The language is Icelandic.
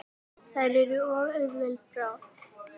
Þær eru of auðveld bráð.